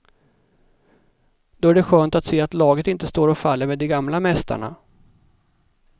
Då är det skönt att se att laget inte står och faller med de gamla mästarna.